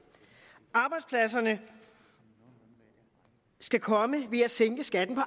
arbejdspladserne skal komme ved at sænke skatten på